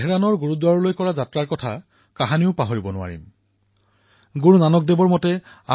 শ্ৰী গুৰুনানক দেৱজীৰ এনে বহু ঘটনা আছে যি আপোনালোকৰ সন্মুখত কব পাৰো কিন্তু ইয়াৰ বাবে মন কী বাতৰ বহুকেইটা খণ্ডৰ প্ৰয়োজন হব